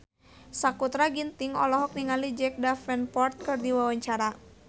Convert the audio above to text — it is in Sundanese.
Sakutra Ginting olohok ningali Jack Davenport keur diwawancara